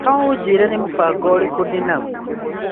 No ũnjĩre nĩ mũbango ũrĩkũ ndĩnaguo.